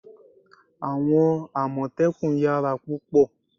Àwọn àmọ̀tẹ́kùn yara púpò